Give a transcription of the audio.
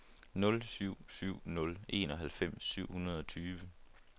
nul syv syv nul enoghalvfems syv hundrede og tyve